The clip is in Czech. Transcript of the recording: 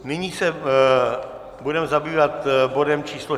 Nyní se budeme zabývat bodem číslo